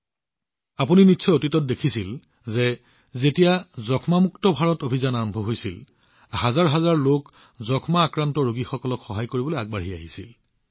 আপোনালোকে নিশ্চয় দেখিছে শেহতীয়াকৈ যেতিয়া টিবি মুক্ত ভাৰত অভিযান আৰম্ভ হৈছিল হাজাৰ হাজাৰ লোক টিবি ৰোগীসকলক সহায় কৰিবলৈ আগবাঢ়ি আহিছিল